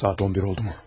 Saat 11 oldu mu?